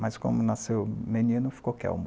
Mas como nasceu menino, ficou Kelmo.